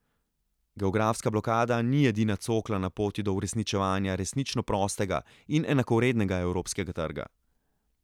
Geografska blokada ni edina cokla na poti do uresničevanja resnično prostega in enakovrednega evropskega trga.